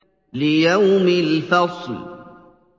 لِيَوْمِ الْفَصْلِ